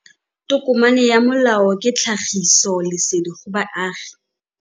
Tokomane ya molao ke tlhagisi lesedi go baagi.